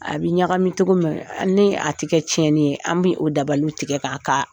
A bi ɲagami cogo min ni a tɛ kɛ tiɲɛni ye an bɛ o dabali tigɛ k'a ka